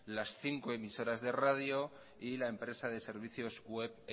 las cinco emisoras de radio y la empresa de servicios web